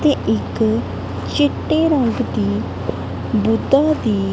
ਤੇ ਇੱਕ ਚਿੱਟੇ ਰੰਗ ਦੀ ਬੁੱਧਾ ਦੀ--